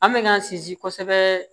An bɛ k'an sinsin kosɛbɛ